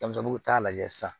Denmisɛnninw t'a lajɛ sisan